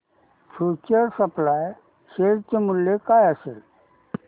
future supply share चे मूल्य काय असेल